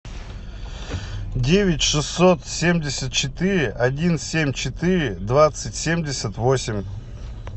девять шестьсот семьдесят четыре один семь четыре двадцать семьдесят восемь